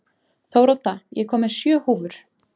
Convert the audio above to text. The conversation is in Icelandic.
Þórodda, ég kom með sjö húfur!